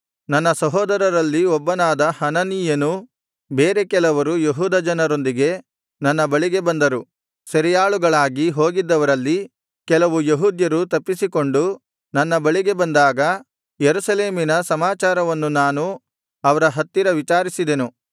ನನ್ನ ಸಹೋದರಲ್ಲಿ ಒಬ್ಬನಾದ ಹನಾನೀಯನೂ ಬೇರೆ ಕೆಲವರು ಯೆಹೂದ ಜನರೊಂದಿಗೆ ನನ್ನ ಬಳಿಗೆ ಬಂದರು ಸೆರೆಯಾಳುಗಳಾಗಿ ಹೋಗಿದ್ದವರಲ್ಲಿ ಕೆಲವು ಯೆಹೂದ್ಯರು ತಪ್ಪಿಸಿಕೊಂಡು ನನ್ನ ಬಳಿಗೆ ಬಂದಾಗ ಯೆರೂಸಲೇಮಿನ ಸಮಾಚಾರವನ್ನು ನಾನು ಅವರ ಹತ್ತಿರ ವಿಚಾರಿಸಿದೆನು